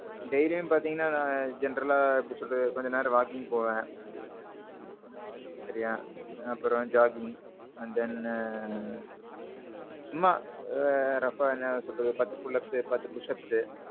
dailyயும் பாத்தீங்கன்னா, generalஆ எப்பிடி சொல்றது, கொஞ்சம் நேரம் walking போவேன். சரியா? அப்பறோம் Jogging, and then. சும்மா roughஅ என்ன சொல்றது பத்து pull ups பத்து push ups.